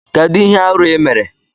Kedu ihe arụ ị mere?